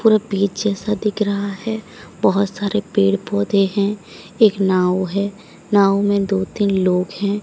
पूरा पीछे सा दिख रहा है बहोत सारे पेड़ पौधे हैं एक नाव है नाव में दो तीन लोग हैं।